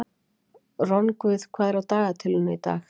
Rongvuð, hvað er á dagatalinu í dag?